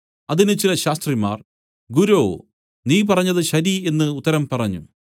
അതിന് ചില ശാസ്ത്രിമാർ ഗുരോ നീ പറഞ്ഞത് ശരി എന്നു ഉത്തരം പറഞ്ഞു